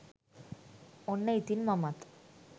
ඔන්න ඉතින් මමත්